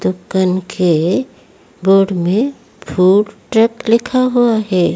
दुकान के बोर्ड में फूड ट्रक लिखा हुआ है।